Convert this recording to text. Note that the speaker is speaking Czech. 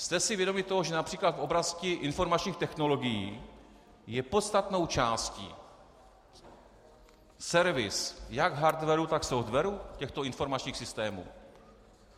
Jste si vědomi toho, že například v oblasti informačních technologií je podstatnou částí servis jak hardwaru, tak softwaru těchto informačních systémů?